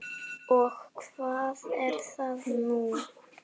Og hvað er nú það?